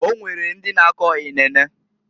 Onwere ndi na-ako inene.